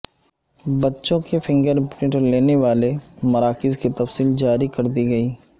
بچوں کے fingerprint لینے والے مراکز کی تفصیل جاری کردی گئی